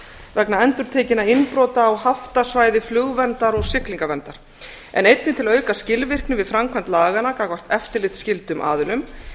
vegna endurtekinna innbrota á haftasvæði flugverndar og siglingaverndar en einnig til að auka skilvirkni við framkvæmd laganna gagnvart eftirlitsskyldum aðilum